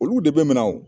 Olu de bɛ mina o